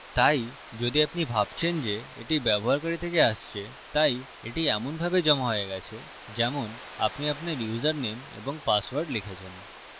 তাই যদি আপনি ভাবছেন যে এটি ব্যবহারকারী থেকে আসছেতাই এটি এমনভাবে জমা হয়ে গেছে যেমন আপনি আপনার ইউসারনেম এবং পাসওয়ার্ড লিখেছেন